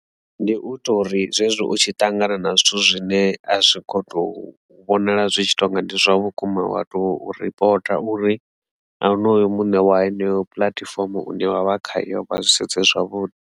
Ndi u ita uri zwezwi u tshi ṱangana na zwithu zwine a zwi kho to vhonala zwi tshi tonga ndi zwavhukuma wa to ripota uri a onoyo muṋe wa heneyo puḽatifomo une wa vha khayo vha zwi sedze zwavhuḓi.